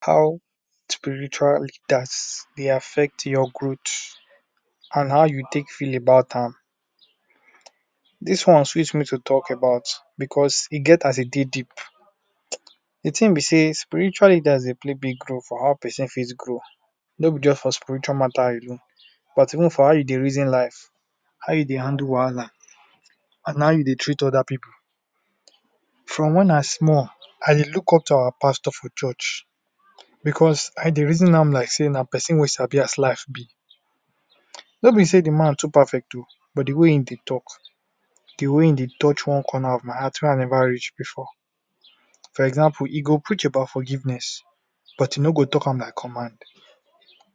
How spiritual leaders dey affect your growth and how you take feel about am? Dis one sweet me to talk about because e get as e dey deep, di tin be sey spiritual leaders dey play big role for how pesin take grow, no be just for spiritual mata alone but even for how you take reason life, how you dey handle wahala and how you dey treat oda pipu. From wen I small, I dey look up to our pastor for church because I dey reason am like sey na pesin wey sabi as life be. No be sey di man too perfect o but di way him dey talk, di wey e dey touch one corner of my heart wey I neva reach before, for example e go preach about forgiveness but e no go talk am like command,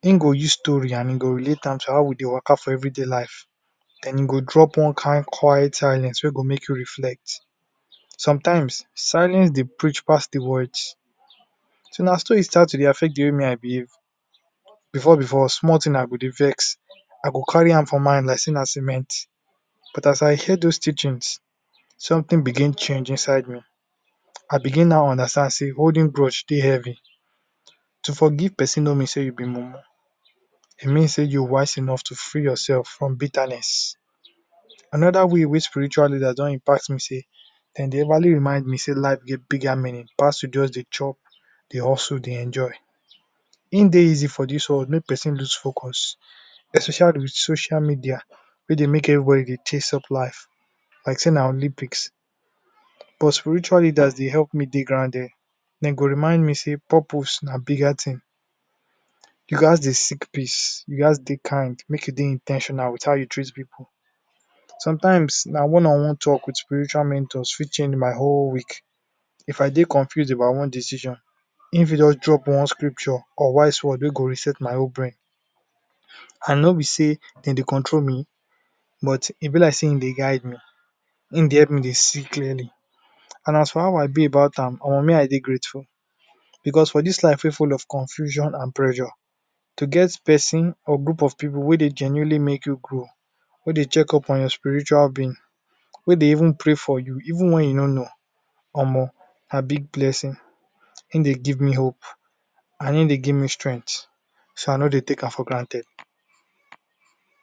him go use story and e go relate am to how we dey waka for everyday life, den e go drop one kain quiet silence wey go make you reflect. Sometimes silence dey preach pass di words, na so e start to dey affect di way me I dey behave before before small tin I go dey vex, I go carry am for mind like sey na cement but as I hear dose teachings somtin begin change inside me, I begin now understand sey holding gouge dey heavy. To forgive pesin no mean sey you be mumu, e mean sey you wise enough to free yourself from bitterness. Anoda way wey spiritual leaders don impact me be sey, sem dey everly remind me sey life get bigger meaning pass to just dey chop, dey hustle, dey enjoy, e dey easy for dis world make pesin loose focus especially wit social media wey dey make everybody dey chase soft life like sey na Olympics but spiritual leaders dey help me dey grounded, dem go remind me sey purpose and bigger tin. You gas dey seek peace, you gas dey dey kain, make you dey in ten tional wit how you treat pipu. Sometimes na one on wone talks wit spiritual mentors fit change my one week, if I dey confused about one decision, him fit just drop one scripture or wise word wey go reset my whole brain and no be sey e dey control me but e be like sey e dey guide me, him dey help me dey see clearly and as for how I feel about am, omo me I dey grateful because for dis life wey full of confusion and pressure to get pesin or group of pippu wey dey genuinely make you grow, wey dey check up on spiritual being, wey dey even pray for you even wen you no know omo na big blessing. Him dey give me hope and him dey give me strength so I no dey take am for granted.